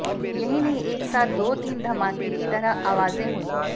यही नहीं एक साथ दो तीन धमाके की तरह आवाजें हुईं